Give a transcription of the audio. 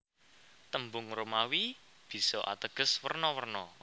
Tembung Romawi bisa ateges werna werna